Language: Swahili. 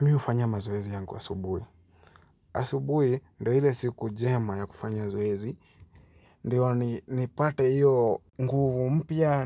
Mimi hufanya mazoezi yangu asubuhi. Asubuhi ndo ile siku jema ya kufanya zoezi. Ndiyo nipate hiyo nguvu mpya,